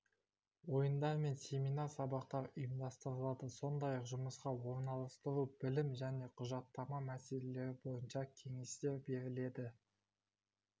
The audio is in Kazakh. ойындар мен семинар сабақтар ұйымдастырылады сондай-ақ жұмысқа орналастыру білім және құжаттама мәселелері бойынша кеңестер беріледі